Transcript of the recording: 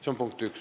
See on punkt üks.